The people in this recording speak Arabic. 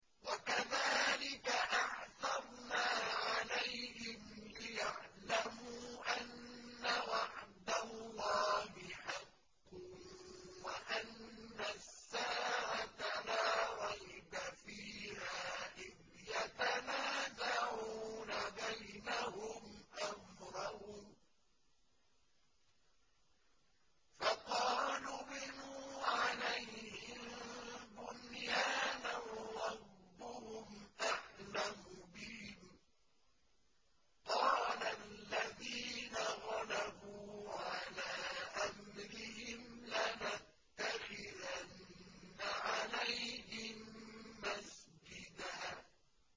وَكَذَٰلِكَ أَعْثَرْنَا عَلَيْهِمْ لِيَعْلَمُوا أَنَّ وَعْدَ اللَّهِ حَقٌّ وَأَنَّ السَّاعَةَ لَا رَيْبَ فِيهَا إِذْ يَتَنَازَعُونَ بَيْنَهُمْ أَمْرَهُمْ ۖ فَقَالُوا ابْنُوا عَلَيْهِم بُنْيَانًا ۖ رَّبُّهُمْ أَعْلَمُ بِهِمْ ۚ قَالَ الَّذِينَ غَلَبُوا عَلَىٰ أَمْرِهِمْ لَنَتَّخِذَنَّ عَلَيْهِم مَّسْجِدًا